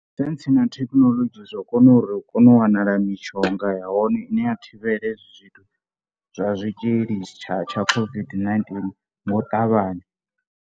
Saintsi na thekhinolodzhi zwa kona uri u kone u wanala mishonga ya hone ine ya thivhela hezwi zwithu zwa zwitzhili tsha tsha COVID-19 ngo u ṱavhanya.